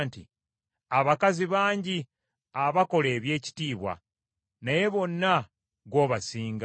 “Abakazi bangi abakola eby’ekitiibwa naye bonna ggwe obasinga.”